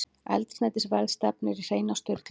Eldsneytisverð stefnir í hreina sturlun